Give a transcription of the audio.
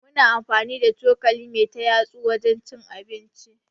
Muna amfani da cokali me ta yatsu wajen cin abinci.